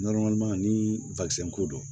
ni ko don